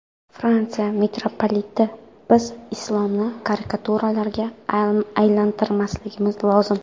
Fransiya mitropoliti: Biz islomni karikaturalarga aylantirmasligimiz lozim.